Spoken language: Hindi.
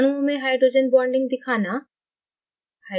अणुओं में hydrogen bonding दिखाना